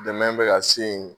Dɛmɛ bɛ ka se yen